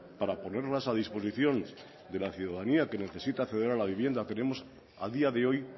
para ponerlas a disposición de la ciudadanía que necesita acceder a la vivienda tenemos a día de hoy